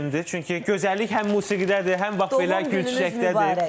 Çünki gözəllik həm musiqidədir, həm bax belə gül-çiçəkdədir.